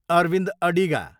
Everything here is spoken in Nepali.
अरविन्द अडिगा